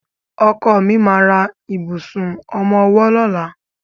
Ọkọ mi ma ra ìbùsùn ọmọwọ́ lọ́la.